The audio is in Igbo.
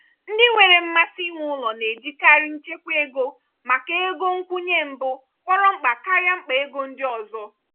ndi nwere mmasị inwe ụlọ na ejikarị nchekwa ego maka ego nkwụnye mbụ kpọrọ mkpa karịa mkpa ego ndị ọzọ.